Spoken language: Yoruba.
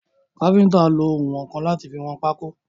Káfíntà nlo ounwọ̀nkan láti fi wọn pákó.